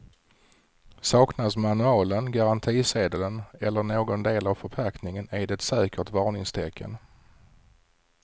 Saknas manualen, garantisedeln eller någon del av förpackningen är det ett säkert varningstecken.